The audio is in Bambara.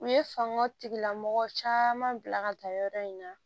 U ye fanga tigilamɔgɔ caman bila ka taa yɔrɔ in na